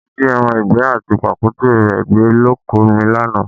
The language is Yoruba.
Wọ́n jí ẹran ìgbẹ́ àti pàkúté rẹ gbé lóko mi lánàá